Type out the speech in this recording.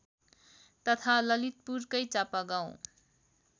तथा ललितपुरकै चापागाउँ